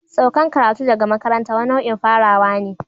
Saukan karatu daga makaranta wani nau'in farawa ne.